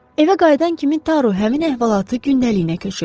Evə qayıdan kimi Daro həmin əhvalatı gündəliyinə köçürüb.